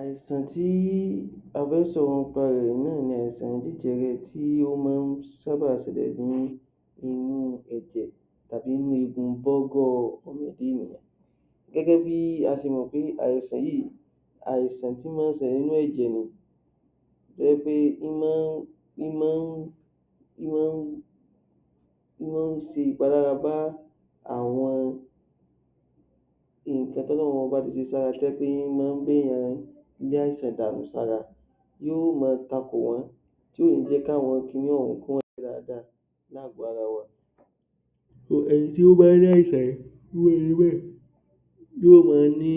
Àìsàn tí a fẹ́ sọ̀rọ̀ nípa rẹ̀ náà ni àìsàn jẹjẹrẹ tí máa ń sábà ṣẹlẹ̀ ní inú ẹ̀jẹ̀ tàbí inú eegun bọ́ọ́gọ́ gẹ́gẹ́ bí a ṣe mọ̀ pé àìsàn yìí àìsàn tí máa ń ṣẹlẹ̀ nínú ẹ̀jẹ̀ ni tó jẹ́ pé ó máa ń ṣe ìpalára bá àwọn nǹkan tí Ọlọ́run ọba tí ṣe sí ara tó jẹ́ pé ó máa ń dènà, lé àìsàn dànù sára tó máa takò wọ́n tí kò ní jẹ́ kí àwọn kiní ọ̀ún yóò máa rí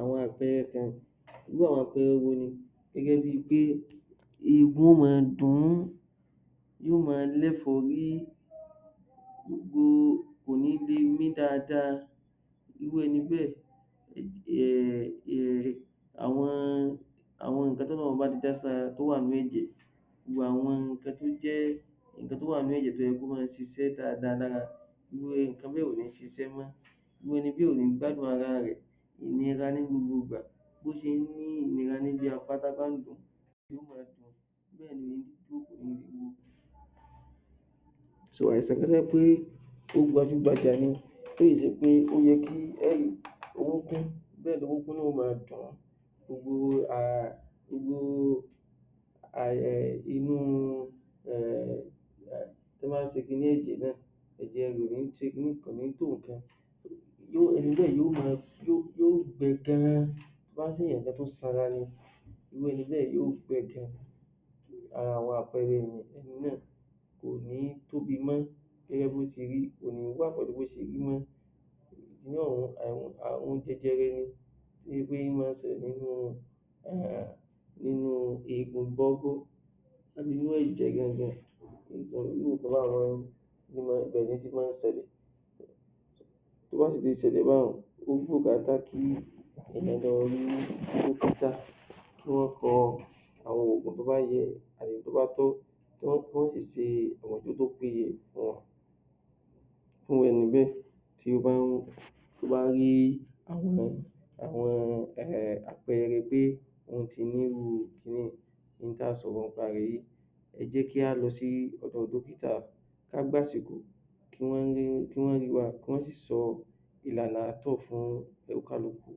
àwọn àpẹrẹ kan irú àwọn àpẹrẹ wo, inú yóò máa dùn ún irú ẹni bẹ́ẹ̀ àwọn nǹkan tí Ọlọ́run ti dá sí ara tó wà nínú ẹ̀jẹ̀ àwọn nǹkan tó jẹ́ tó wà nínú ẹ̀jẹ̀ tó yẹ kó máa ṣiṣẹ́ dáadá́a lára gbogbo nǹkan bẹ́ẹ̀ kò ní máa ṣiṣẹ́ mọ́ irú ẹni bẹ́ẹ̀ kò ní gbádùn ara rẹ̀, ìrora ni ní gbogbo ìgbà ] irú ẹni bẹ́ẹ̀ yóò gbẹ tán tó bá jẹ́ èèyà tó sanra ni irú ẹni bẹ́ẹ̀ yóò gbẹ gan àwọn àpẹrẹ kò ní tóbi mọ́, kò ní wà bí ó ṣe rí mọ́ inú àrùn jẹjẹrẹ ni ó máa ń ṣẹlẹ̀ nínú eegun bọ́gọ́ inú ẹ̀jẹ̀ gangan irú nǹkan báyẹn ibẹ̀ ló ti máa ń ṣẹlẹ̀ kí wọ́n kọ àwọn òògùn tó bá yẹ àti èyí tó bá tọ́ ẹ jẹ́ kí á lọ sí ọ̀dọ̀ dọ́kítà ká gba àsìkò kí wọ́n sì sọ ìlànà ààtọ̀ fún oníkálukú